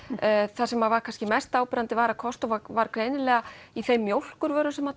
það sem var kannski mest áberandi var að Costco var var greinilega í þeim mjólkurvörum sem